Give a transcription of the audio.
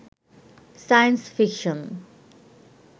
science fiction